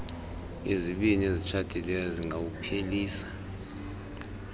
izibini ezitshatileyo zingawuphelisa